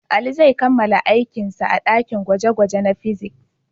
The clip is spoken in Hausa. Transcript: Ali zai kammala aikinsa a dakin gwaje-gwaje na fiziks.